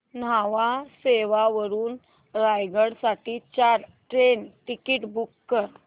न्हावा शेवा वरून रायगड साठी चार ट्रेन टिकीट्स बुक कर